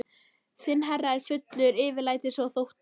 Þinn herra er fullur yfirlætis og þótta.